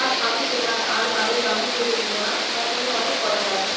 আজ আমি তোমার আর বাড়ির বাহির হইতে দেব না তোমার সঙ্গে অনেক কথা আছে